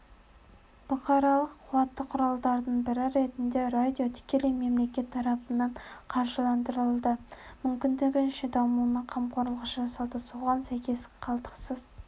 бұқаралық қуатты құралдардың бірі ретінде радио тікелей мемлекет тарапынан қаржыландырылды мүмкіндігінше дамуына қамқорлық жасалды соған сәйкес қалтқысыз